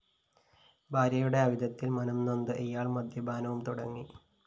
ഭാര്യയുടെ അവിഹിതത്തില്‍ മനംനൊന്ത ഇയാള്‍ മദ്യപാനവും തുടങ്ങി